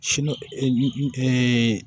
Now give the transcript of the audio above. Sini